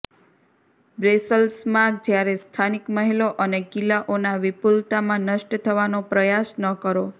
બ્રસેલ્સમાં જ્યારે સ્થાનિક મહેલો અને કિલ્લાઓના વિપુલતામાં નષ્ટ થવાનો પ્રયાસ ન કરો